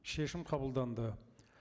шешім қабылданды